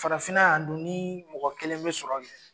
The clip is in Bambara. Farafinna yan dun ni mɔgɔ kelen bɛ sɔrɔ kɛ.